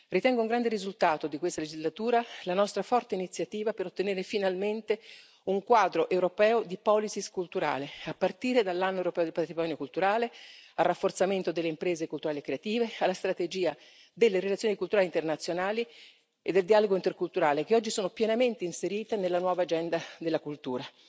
Ritengo un grande risultato di questa legislatura la nostra forte iniziativa per ottenere finalmente un quadro europeo di politiche culturali, a partire dall'Anno del patrimonio culturale, dal rafforzamento delle imprese culturali e creative, dalla strategia delle relazioni culturali internazionali e del dialogo interculturale, che oggi sono pienamente inserite nella nuova agenda per la cultura.